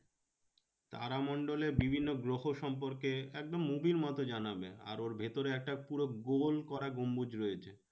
তারামণ্ডলে বিভিন্ন গ্রহ সম্পর্কে একদম movie র মতো জানাবে। আর ওর ভেতরে একটা পুরো গোল করা গম্বুজ রয়েছে।